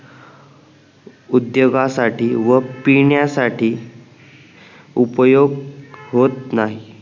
उद्द्योगासाठी व पिण्यासाठी उपयोग होत नाही